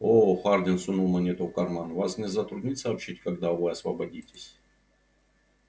оо хардин сунул монету в карман вас не затруднит сообщить когда вы освободитесь